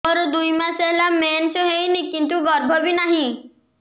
ମୋର ଦୁଇ ମାସ ହେଲା ମେନ୍ସ ହେଇନି କିନ୍ତୁ ଗର୍ଭ ବି ନାହିଁ